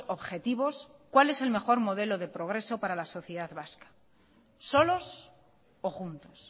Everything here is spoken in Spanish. objetivos cuál es el mejor modelo de progreso para la sociedad vasca solos o juntos